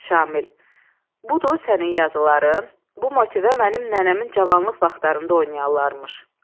Şamil, budur sənin yazıların, bu motive mənim nənəmin cavanlıq vaxtlarında oynayanarmış.